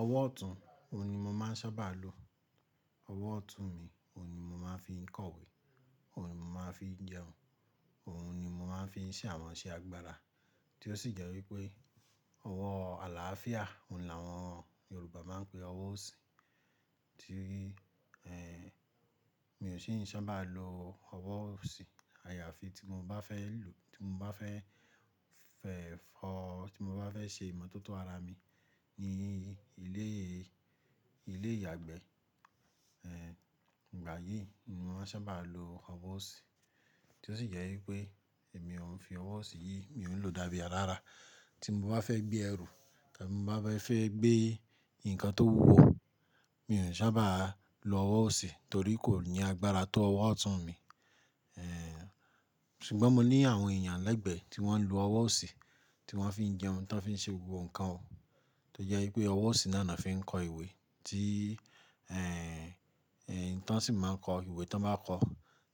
Ọwọ́ ọ̀tún, òun ni mo máa ń sábà lo. Ọwọ́ ọ̀tún mi, òun ni mo máa ń fi kọ̀wé, òun ni mo máa ń fi jẹun, òun ni mo máa ń fi ṣe àwọn iṣẹ́ agbára. Tí ó sì jẹ́ wípé, ọwọ́ àlàáfíà, òun làwọn Yorùbá máa ń pè ọwọ́ òsì. Tí í, mi ò sì n sábà lo ọwọ́ òsì. Àyàfi tí mo bá fẹ́ lù-- tí mo bá fẹ́ fẹ̀fọ́, tí mo bá fẹ́ ṣe ìmọ̀tótó ara mi ní ilé, ilé ìyàgbẹ́. Ìgbà yìí ni mo máa sábà lo ọwọ́ òsì. Tí ó sì jẹ́ wípé, èmi ò ń fi ọwọ́ òsì yìí, mi ò ń lò ó dá bí a rárá. Tí mo bá fẹ́ gbé ẹrù, tabí mo bá fẹ́ gbé ǹkan tó wúwo, mi òn sábà lo ọwọ́ òsì torí kò ní agbára tó ọwọ́ ọ̀tún mi. Ṣùgbọ́n mo ní àwọn èèyàn lẹ́gbẹ̀ẹ́ tí wọ́n ń lo ọwọ́ òsì, tí wọ́n fi ń jẹun, tí wọ́n fi ń ṣe gbogbo ǹkan o. Tí ó jẹ́ wípé ọwọ́ òsì náà ni on fi ń kọ ìwé tí, n tọ́n sì máa ń kọ ìwé tí wọ́n bá kọ,